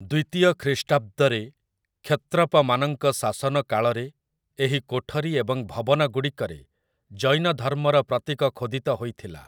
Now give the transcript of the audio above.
ଦ୍ୱିତୀୟ ଖ୍ରୀଷ୍ଟାବ୍ଦରେ କ୍ଷତ୍ରପମାନଙ୍କ ଶାସନ କାଳରେ ଏହି କୋଠରୀ ଏବଂ ଭବନଗୁଡ଼ିକରେ ଜୈନଧର୍ମର ପ୍ରତୀକ ଖୋଦିତ ହୋଇଥିଲା ।